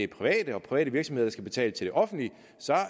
private og private virksomheder skal betale til det offentlige